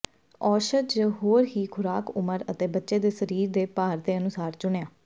ਔਸ਼ਧ ਜ ਹੋਰ ਦੀ ਖੁਰਾਕ ਉਮਰ ਅਤੇ ਬੱਚੇ ਦੇ ਸਰੀਰ ਦੇ ਭਾਰ ਦੇ ਅਨੁਸਾਰ ਚੁਣਿਆ